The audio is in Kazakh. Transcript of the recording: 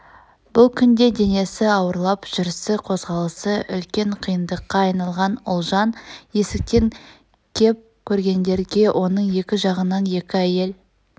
бұл күнде денесі ауырлап жүрсі қозғалысы үлкен қиындыққа айналған ұлжан есіктен кеп көрнгенде оның екі жағынан екі әйел